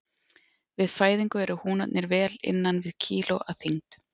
Við fæðingu eru húnarnir vel innan við kíló að þyngd.